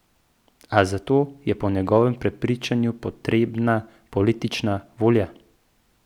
A za to je po njegovem prepričanju potrebna politična volja.